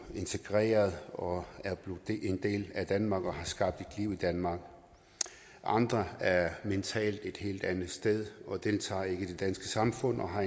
integreret og er blevet en del af danmark og har skabt et liv i danmark andre er mentalt et helt andet sted og deltager ikke i det danske samfund og har